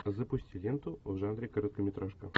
запусти ленту в жанре короткометражка